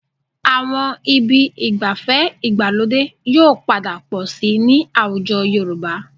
Àwọn ibi ìgbafẹ́ ìgbàlódé yóò padà pọ̀ síi ní àwùjọ Yorùbá